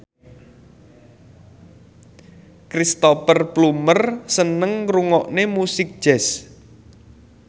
Cristhoper Plumer seneng ngrungokne musik jazz